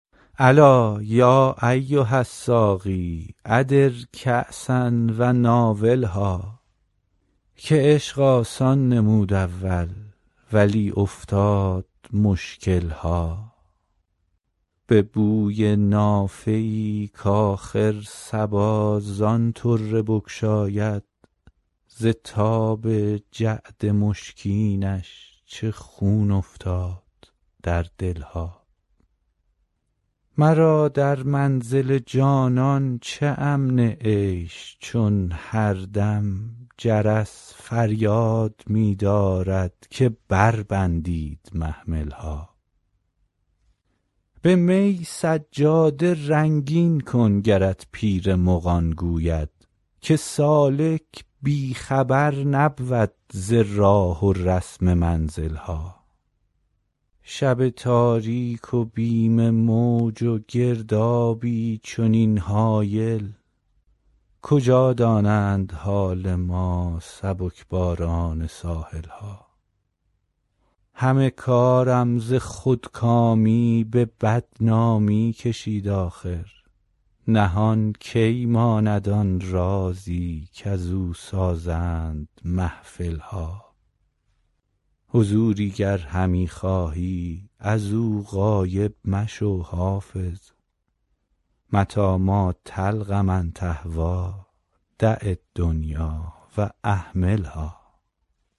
الا یا ایها الساقی ادر کأسا و ناولها که عشق آسان نمود اول ولی افتاد مشکل ها به بوی نافه ای کآخر صبا زان طره بگشاید ز تاب جعد مشکینش چه خون افتاد در دل ها مرا در منزل جانان چه امن عیش چون هر دم جرس فریاد می دارد که بربندید محمل ها به می سجاده رنگین کن گرت پیر مغان گوید که سالک بی خبر نبود ز راه و رسم منزل ها شب تاریک و بیم موج و گردابی چنین هایل کجا دانند حال ما سبک باران ساحل ها همه کارم ز خودکامی به بدنامی کشید آخر نهان کی ماند آن رازی کزو سازند محفل ها حضوری گر همی خواهی از او غایب مشو حافظ متیٰ ما تلق من تهویٰ دع الدنیا و اهملها